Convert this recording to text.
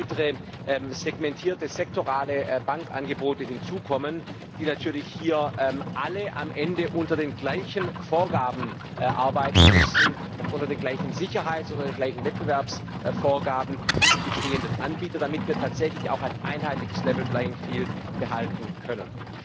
Und es werden weitere segmentierte sektorale Bankangebote hinzukommen, die natürlich hier alle am Ende unter den gleichen Vorgaben arbeiten müssen, unter den gleichen Sicherheits unter den gleichen Wettbewerbsvorgaben wie die bestehenden Anbieter, damit wir tatsächlich auch ein einheitliches behalten können.